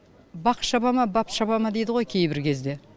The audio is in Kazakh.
бақ шаба ма бап шаба ма дейді ғой кейбір кезде